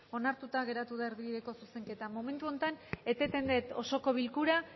onartuta geratu da erdibideko zuzenketa momentu honetan eteten dut osoko bilkura